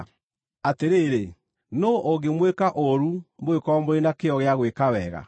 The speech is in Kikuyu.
Atĩrĩrĩ, nũũ ũngĩmwĩka ũũru mũngĩkorwo mũrĩ na kĩyo gĩa gwĩka wega?